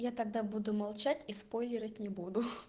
я тогда буду молчать и споилирать не буду